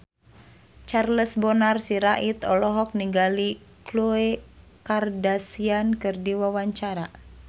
Charles Bonar Sirait olohok ningali Khloe Kardashian keur diwawancara